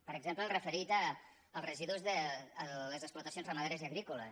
per exemple el referit als residus de les explotacions ramaderes i agrícoles